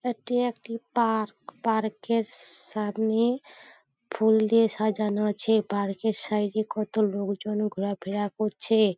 এটি একটি park. Park -এর স স সামনে ফুল দিয়ে সাজানো আছে পার্ক -এর সাইড -এ কত লোকজন ঘোরাফেরা করছে।